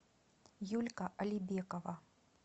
юлька алибекова